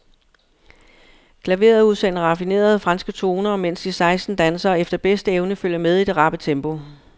Klaveret udsender raffinerede, franske toner, mens de seksten dansere efter bedste evne følger med i det rappe tempo.